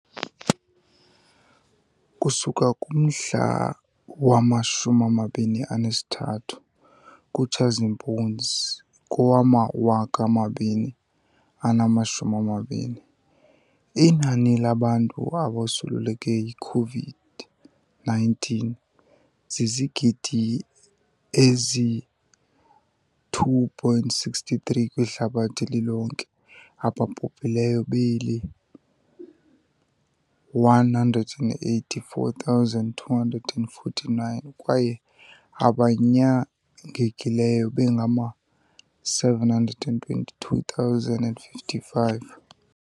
Ukusuka kumhla wama-23 kuTshazimpunzi kowama-2020, inani labantu abosuleleke yiCOVID-19 zizigidi ezi-2.63 kwihlabathi lilonke, ababhubhileyo beli-184,249 kwaye abanyangekileyo bengama-722,055.